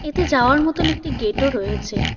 যাওয়ার মতন একটি গেট -ও রয়েছে।